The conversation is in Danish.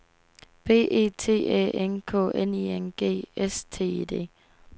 B E T Æ N K N I N G S T I D